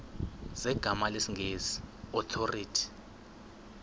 zegama lesngesn authorit